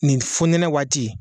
Nin fo ɲɛnɛ waati